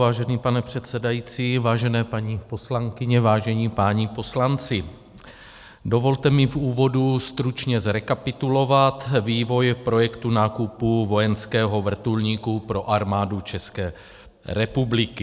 Vážený pane předsedající, vážené paní poslankyně, vážení páni poslanci, dovolte mi v úvodu stručně zrekapitulovat vývoj projektu nákupu vojenského vrtulníku pro Armádu České republiky.